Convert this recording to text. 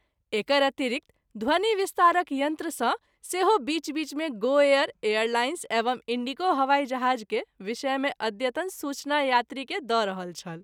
एकर अतिरिक्त ध्वनि विस्तारक यंत्र सँ सेहो बीच- बीच मे गो एयर, एयरलाइंस एवं इंण्डिगो हवाई जहाज़ के विषय मे अद्यतन सूचना यात्री के द’ रहल छल।